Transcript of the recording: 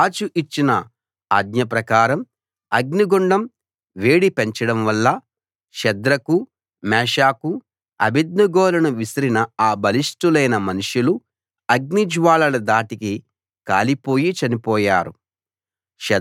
రాజు ఇచ్చిన ఆజ్ఞ ప్రకారం అగ్నిగుండం వేడి పెంచడం వల్ల షద్రకు మేషాకు అబేద్నెగోలను విసిరిన ఆ బలిష్టులైన మనుషులు అగ్నిజ్వాలల ధాటికి కాలిపోయి చనిపోయారు